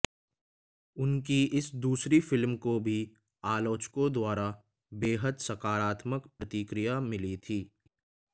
उनकी इस दूसरी फिल्म को भी आलोचकों द्वारा बेहद सकारत्मक प्रतिक्रिया मिली थी